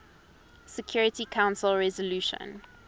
security council resolution